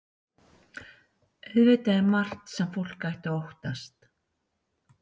Auðvitað er margt sem fólk ætti að óttast.